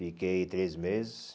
Fiquei três meses.